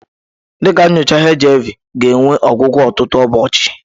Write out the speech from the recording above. Dị ka nyocha HIV ga-enwe ọgwụgwọ ọtụtụ ụbọọchi.